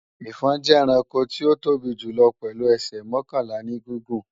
Ẹfọ̀n jẹ́ ẹranko tí ó tóbi púpò pèlu ẹsẹ̀ mọ́kànlá ní gígùn.